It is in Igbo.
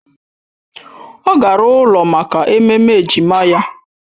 Ọ gara ụlọ maka ememme ejima ya